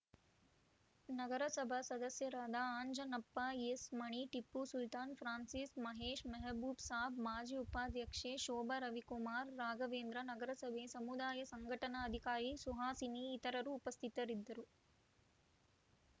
ನಗರಸಭಾ ಸದಸ್ಯರಾದ Anjanappa S Mani Tipu Sultan Francis Mahesh Mehboob Saab ಮಾಜಿ ಉಪಾಧ್ಯಕ್ಷೆ ಶೋಭ ರವಿಕುಮಾರ್‌ ರಾಘವೇಂದ್ರ ನಗರಸಭೆ ಸಮುದಾಯ ಸಂಘಟನಾ ಅಧಿಕಾರಿ ಸುಹಾಸಿನಿ ಇತರರು ಉಪಸ್ಥಿತರಿದ್ದರು